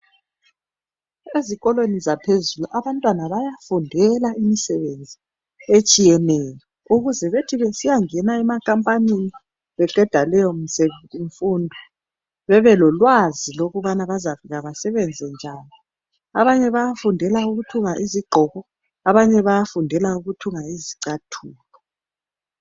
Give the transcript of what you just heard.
Ezikolweni zaphezulu abantwana bayafundela imisebenzi etshiyeneyo ukuze bethi besiyangena emakampanini beqeda leyomfundo bebelolwazi lokubana bazafika basebenze njani. Abanye bayafundela ukuthunga izigqoko abanye bayafundela ukuthunga izicathulo.